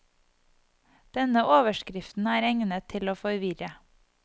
Denne overskriften er egnet til å forvirre.